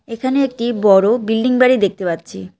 এখানে একটি বড়ো বিল্ডিং বাড়ি দেখতে পাচ্ছি।